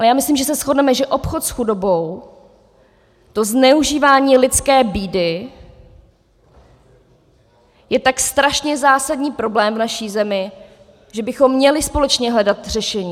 Ale já myslím, že se shodneme, že obchod s chudobou, to zneužívání lidské bídy, je tak strašně zásadní problém v naší zemi, že bychom měli společně hledat řešení.